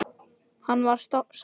Hann var sáttur.